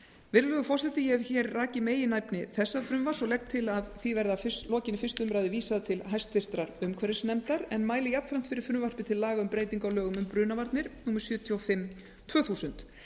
virðulegur forseti ég hef hér rakið meginefni þessa frumvarps og legg til að því verði að lokinni fyrstu umræðu vísað til háttvirtrar umhverfisnefndar en mæli jafnframt fyrir frumvarpi til laga um breytingu á lögum um brunavarnir númer sjötíu og fimm tvö þúsund